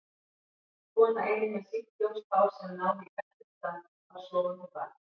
Kona ein með sítt ljóst hár sem náði í beltisstað, bar sofandi barn.